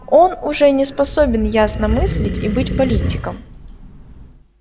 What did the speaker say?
он уже не способен ясно мыслить и быть политиком